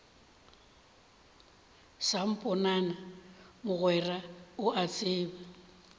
samponana mogwera o a tseba